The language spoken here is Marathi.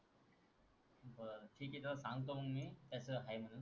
किती डाव सांगतो मी तस हाय म्हणून